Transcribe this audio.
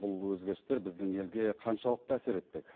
бұл өзгерістер біздің елге қаншалықты әсер етпек